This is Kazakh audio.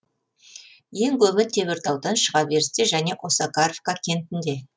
ең көбі теміртаудан шыға берісте және осакаровка кентінде